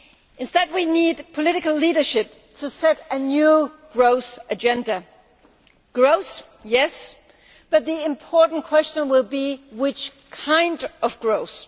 Instead we need political leadership to set a new growth agenda growth, yes but the important question will be what kind of growth?'